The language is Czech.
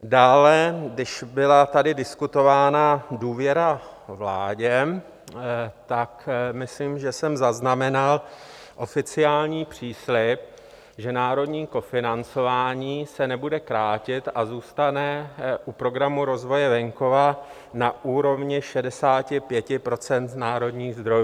Dále, když tady byla diskutována důvěra vládě, tak myslím, že jsem zaznamenal oficiální příslib, že národní kofinancování se nebude krátit a zůstane u Programu rozvoje venkova na úrovni 65 % národních zdrojů.